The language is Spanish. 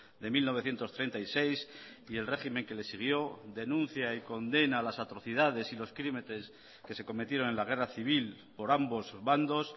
de mil novecientos treinta y seis y el régimen que les siguió denuncia y condena las atrocidades y los crímenes que se cometieron en la guerra civil por ambos bandos